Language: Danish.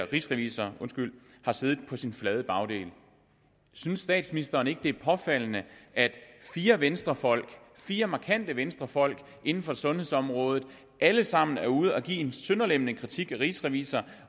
rigsrevisor har siddet på sin flade bagdel synes statsministeren ikke det er påfaldende at fire venstrefolk fire markante venstrefolk inden for sundhedsområdet alle sammen er ude at give en sønderlemmende kritik af rigsrevisor